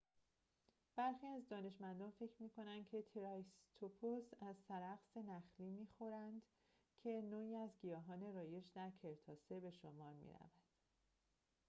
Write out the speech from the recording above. برخی دانشمندان فکر می‌کنند که تریسراتوپس از سرخس نخلی می‌خوردند که نوعی از گیاهان رایج در کرتاسه به شمار می‌رود